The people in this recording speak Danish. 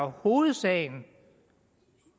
hovedsagen